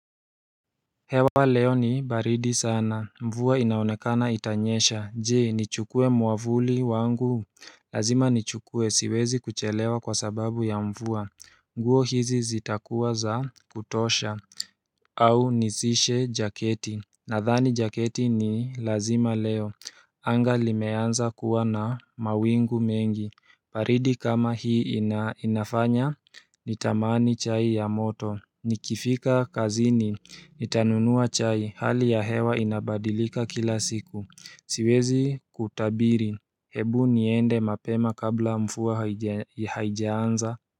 Hewa leo ni baridi sana, mvua inaonekana itanyesha, jee, nichukue mwavuli wangu? Lazima nichukue, siwezi kuchelewa kwa sababu ya mvua, nguo hizi zitakuwa za kutosha au nizishe jaketi nadhani jaketi ni lazima leo anga limeanza kuwa na mawingu mengi baridi kama hii inafanya nitamani chai ya moto Nikifika kazini Nitanunua chai hali ya hewa inabadilika kila siku siwezi kutabiri hebu niende mapema kabla mvua haijaanza.